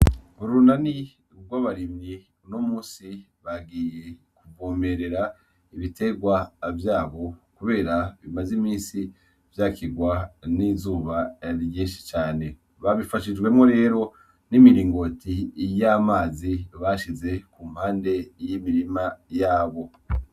Urunani gw'abarimyi unomusi bagiye kuvomerera ibitegwa vyabo kubera bimaze imisi vyakigwa n'izuba ryinshi cane babifashijwemwo rero n'imiringoti y'amazi bashize kumpande y'imirima yabo